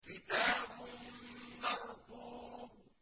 كِتَابٌ مَّرْقُومٌ